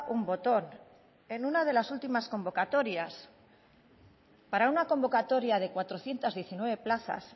un botón en una de las últimas convocatorias para una convocatoria de cuatrocientos diecinueve plazas